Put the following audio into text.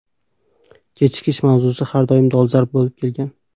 Kechikish mavzusi har doim dolzarb bo‘lib kelgan.